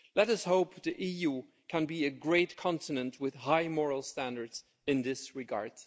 Let us hope the EU can be a great continent with high moral standards in this regard.